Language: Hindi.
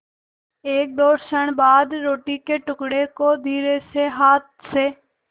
एकदो क्षण बाद रोटी के टुकड़े को धीरेसे हाथ से